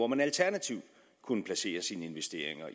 man alternativt kunne placere sine investeringer